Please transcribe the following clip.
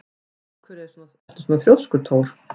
Af hverju ertu svona þrjóskur, Thór?